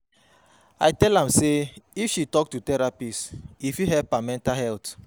I tell am sey if she tok to therapist, e fit help her mental health.